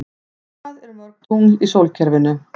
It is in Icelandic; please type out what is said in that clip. Hvað eru mörg tungl í sólkerfinu?